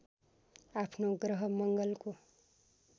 आफ्नो ग्रह मङ्गलको